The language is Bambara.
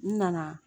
N nana